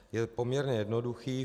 Je poměrně jednoduchý.